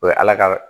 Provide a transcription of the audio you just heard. O ye ala ka